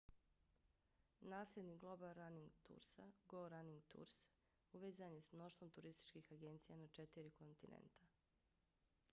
nasljednik global running toursa go running tours uvezan je s mnoštvom turističkih agencija na četiri kontinenta